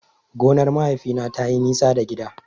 Gonar mahaifina tayi nisa da gida.